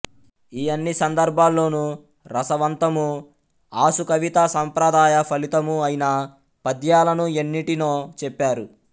ఈ అన్ని సందర్భాల్లోనూ రసవంతమూ ఆశుకవితా సంప్రదాయ ఫలితమూ ఐన పద్యాలను ఎన్నిటినో చెప్పారు